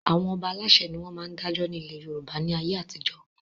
Àwọn Ọba Aláṣẹ ni wọn máa ń dájọ́ ni ilé Yorùbá ni ayé àtijọ́